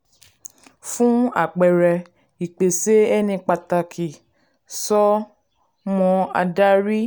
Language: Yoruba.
um fún àpẹẹrẹ ìpèsè ẹni pàtàkì so mọ́ adarí